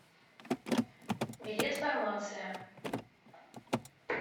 билет фармация